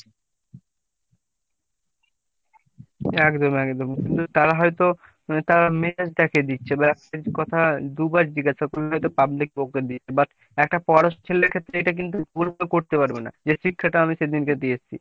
একদম একদম আসলে তারা হয় তো তারা মেজাজ দেখিয়ে দিচ্ছে বা সে কথা দুইবার জিজ্ঞাসা করলে public বকে দিচ্ছে but একটা পড়াশোনা করা ছেলের ক্ষেত্রে এটা কিন্তু করতে পারবেনা যে শিক্ষাটা আমি সেইদিনকে দিয়ে এসেছি।